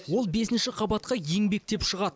ол бесінші қабатқа еңбектеп шығады